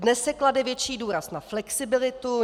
Dnes se klade větší důraz na flexibilitu.